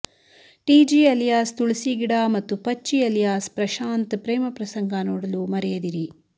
TG alias Tulasi ಗಿಡ ಮತ್ತು Pacchi alias Prashanth ಪ್ರೇಮ ಪ್ರಸಂಗ ನೋಡಲು ಮರೆಯದಿರಿ